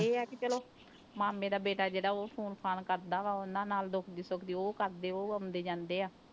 ਇਹ ਆ ਕਿ ਚਲੋ ਮਾਮੇ ਦਾ ਬੇਟਾ ਜਿਹੜਾ ਉਹ phone ਫ਼ਾਨ ਕਰਦਾ ਵਾ, ਉਹਨਾਂ ਨਾਲ ਦੁੱਖਦੀ ਸੁੱਖਦੀ ਉਹ ਕਰਦੇ, ਉਹ ਆਉਂਦੇ ਜਾਂਦੇ ਆ।